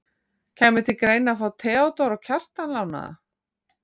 Kæmi til greina að fá Theodór og Kjartan lánaða?